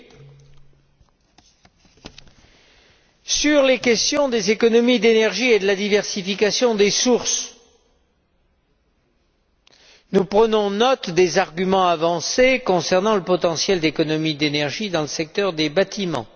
S'agissant des questions des économies d'énergie et de la diversification des sources, nous prenons note des arguments avancés concernant le potentiel d'économies d'énergie dans le secteur des bâtiments